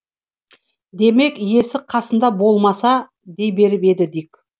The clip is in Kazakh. демек иесі қасында болмаса дей беріп еді дик